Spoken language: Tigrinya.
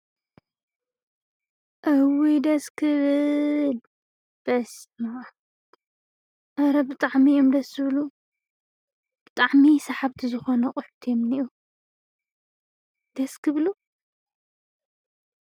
እውይ ደስ ክብል በስምኣም አረ ብጣዕሚ እዮም ደስ ዝብሉ ብጣዕሚ ሰሓብቲ ዝኮኑ ኣቁሑት እዮም ዝኒሀው ደስ ክብሉ፡፡